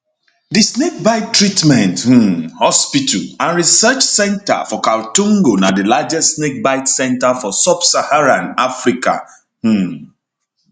di snakebite treatment um hospital and research centre for kaltungo na di largest snakebite centre for subsaharan africa um